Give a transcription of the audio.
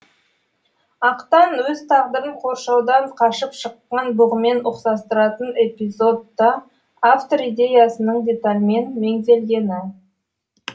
ақтан өз тағдырын қоршаудан қашып шыққан бұғымен ұқсастыратын эпизод та автор идеясының детальмен меңзелгені